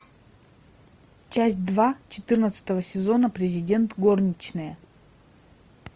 часть два четырнадцатого сезона президент горничная